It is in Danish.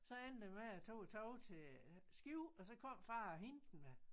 Så endte det med jeg tog æ tog til Skive og så kom far og hentede mig